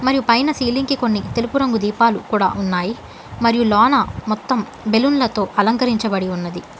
మరియు పైన సీలింగ్ కి కొన్ని తెలుపు రంగు దీపాలు కూడా ఉన్నాయి మరియు లోన మొత్తం బెలూన్లతో అలంకరించబడి ఉన్నది.